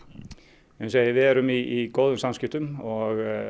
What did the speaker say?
eins segi við erum í góðum samskiptum og